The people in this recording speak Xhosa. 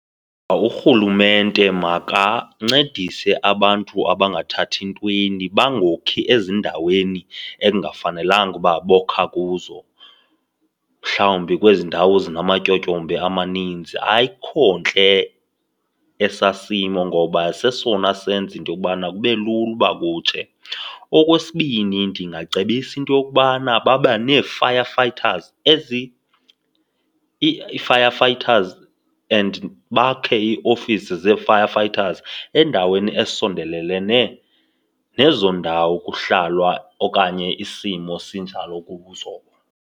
Urhulumente makancedise abantu abangathathi ntweni bangokhi ezindaweni ekungafanelekanga uba bokha kuzo, mhlawumbi kwezi ndawo zinamatyotyombe amaninzi. Ayikho ntle esaa simo ngoba sesona senza into yokubana kube lula uba kutshe. Okwesibini, ndingacebisa into yokubana babe nee-firefighters , ii-fire fighters and bakhe iiofisi zee-firefighters endaweni esondelenene nezo ndawo kuhlalwa okanye isimo sinjalo kuzo.